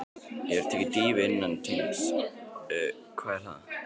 Hefurðu tekið dýfu innan teigs: Hvað er það?